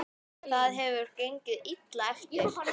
Það hefur gengið illa eftir.